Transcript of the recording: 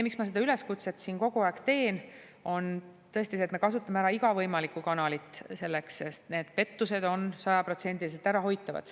Miks ma seda üleskutset siin kogu aeg teen, on tõesti see, et me kasutame ära iga võimalikku kanalit selleks, sest need pettused on sajaprotsendiliselt ärahoitavad.